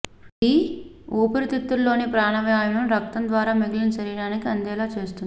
ఇది వూపిరితిత్తుల్లోని ప్రాణవాయువును రక్తం ద్వారా మిగిలిన శరీరానికి అందేలా చేస్తుంది